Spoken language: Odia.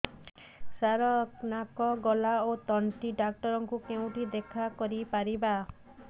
ସାର ନାକ ଗଳା ଓ ତଣ୍ଟି ଡକ୍ଟର ଙ୍କୁ କେଉଁଠି ଦେଖା କରିପାରିବା